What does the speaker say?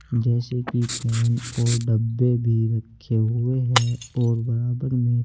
जैसे की पेन और डब्बे भी रखे हुए हैं और बराबर में--